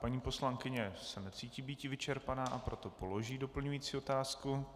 Paní poslankyně se necítí býti vyčerpaná, a proto položí doplňující otázku.